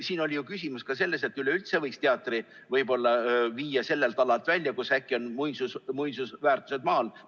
Siin oli ju küsimus ka selles, et üleüldse võiks teatri võib-olla viia sellelt alalt välja, sest äkki on seal muinsusväärtused maa all.